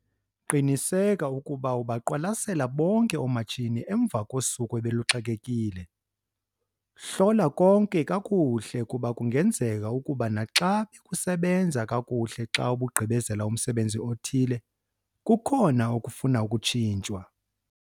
Qiniseka ukuba ubaqwalasela bonke oomatshini emva kosuku obeluxakekile. Hlola konke kakuhle kuba kungenzeka ukuba naxa bekusasebenza kakuhle xa ubugqibezela umsebenzi othile, kukhona okufuna ukutshintshwa.